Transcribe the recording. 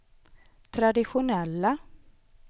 traditionella